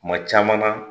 Kuma caman na